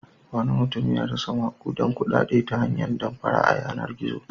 Wani mutum ya rasa maƙudan kuɗaɗe ta hanyar damfara a yanar-gizo.